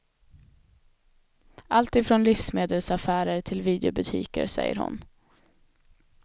Allt ifrån livsmedelsaffärer till videobutiker, säger hon.